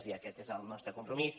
i aquest és el nostre compromís